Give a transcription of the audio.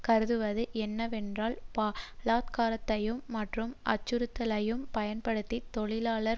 கருதுவது என்னவென்றால் பலாத்காரத்தையும் மற்றும் அச்சுறுத்தலையும் பயன்படுத்தி தொழிலாளர்